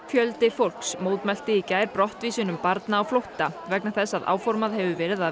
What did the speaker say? fjöldi fólks mótmælti í gær brottvísunum barna á flótta vegna þess að áformað hefur verið að